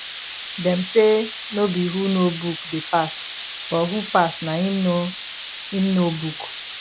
dem say no be who no book dey pass but who pass na em know em know book